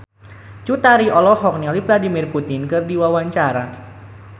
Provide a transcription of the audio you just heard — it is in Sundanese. Cut Tari olohok ningali Vladimir Putin keur diwawancara